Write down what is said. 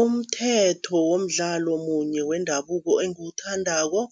Umthetho womdlalo munye wendabuko engiwuthandako,